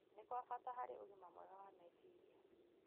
nĩ kwa bata harĩ ũgima mwega wa meciria.